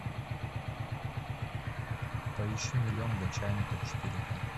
поищи миллион для чайников четыре ка